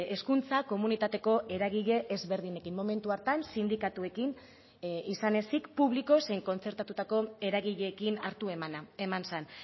hezkuntza komunitateko eragile ezberdinekin momentu hartan sindikatuekin izan ezik publiko zein kontzertatutako eragileekin hartu emana eman zen